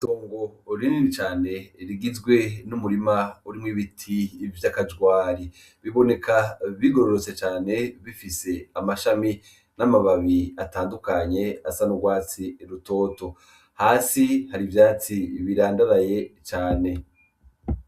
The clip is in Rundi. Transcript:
Itongo rinini cane rigizwe n'umurima urimwo ibiti bita kajwari. Biboneka bigororotse cane, bifise amashami n'amababi atandukanye asa n'urwatsi rutoto. Hasi hari ivyatsi birandaraye cane.